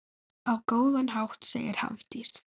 Á góðan hátt, segir Hafdís.